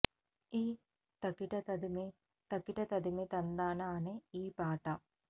ఈ తకిట తదిమి తకిట తదిమి తందాన అనే ఈ పాట